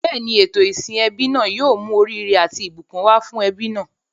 Bẹ́ẹ̀ni, ètò ìsìn ẹbí náà yóò mú oríire àti ìbùkún wá fún ẹbí náà.